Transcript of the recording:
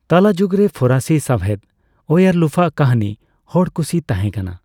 ᱛᱟᱞᱟᱡᱩᱜ ᱨᱮ ᱯᱷᱚᱨᱟᱥᱤ ᱥᱟᱸᱣᱦᱮᱫ ᱳᱭᱟᱨᱞᱩᱯᱷᱚ ᱟᱜ ᱠᱟᱹᱦᱱᱤ ᱦᱚᱲ ᱠᱩᱥᱤ ᱛᱟᱦᱮᱸ ᱠᱟᱱᱟ ᱾